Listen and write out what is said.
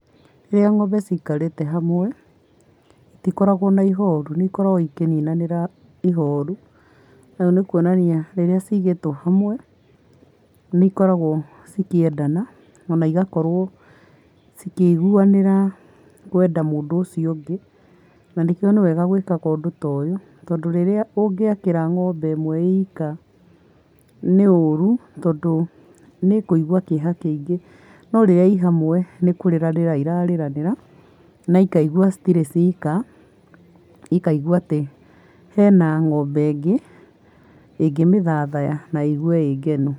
Rĩrĩa ng'ombe cikarĩte hamwe, itikoragwo na ihoru, nĩ ikoragwo ikĩninanĩra ihoru. Nayo nĩ kuonania rĩrĩa cigĩtwo hamwe, nĩ ikoragwo ikĩendana ona igakorwo ikĩiguanĩra kwenda mũndũ ũcio ũngĩ, na nĩkĩo nĩ wega gwĩkaga ũndũ ta ũyũ, tondũ rĩrĩa ũngĩakĩra ng'ombe ĩmwe ĩika, nĩũru tondũ nĩĩkũigua kĩeha kĩingĩ, no rĩrĩa i hamwe nĩ kũrĩranĩra irarĩranĩra na ikaigua citirĩ cika, ikaigua atĩ hena ng'ombe ĩngĩ ĩngĩmĩthathaya na ĩigue ĩngenu.